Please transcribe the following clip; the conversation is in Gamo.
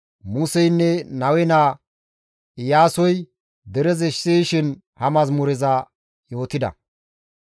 Museynne Nawe naa Iyaasoy derezi siyishin ha mazamureza yootida.